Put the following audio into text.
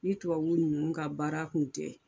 Ni tubabu ninnu ka baara kun tɛ.